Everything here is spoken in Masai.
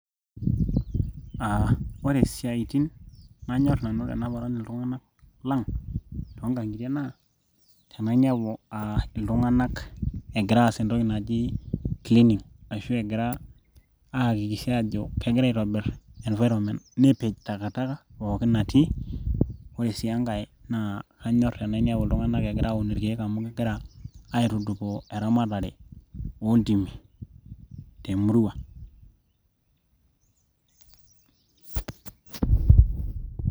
ore isiatin nanyorr nanu tenaparan iltung'anak lang toonkang'itie naa tenainepu uh iltung'anak egira aas entoki naji cleaning ashu egira aakikisha ajo kegira aitobirr environment nepej takataka pookin natii ore sii enkae naa kanyorr tenainepu iltung'anak egira aun irkeek amu kegira aitudupaa eramatare oontimi temurua.